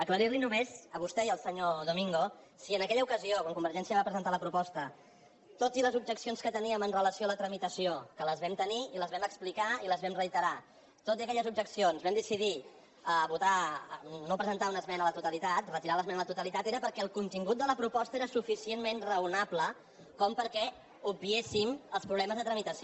aclarir li només a vostè i al senyor domingo que si en aquella ocasió quan convergència va presentar la proposta tot i les objeccions que teníem amb relació a la tramitació que les vam tenir i les vam explicar i les vam reiterar tot i aquelles objeccions vam decidir no presentar una esmena a la totalitat retirar l’esmena a la totalitat era perquè el contingut de la proposta era suficientment raonable perquè obviéssim els problemes de tramitació